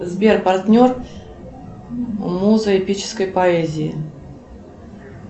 сбер партнер муза эпической поэзии